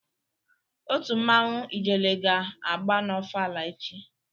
Otu mmanwu Ijele ga agba n'ofala echi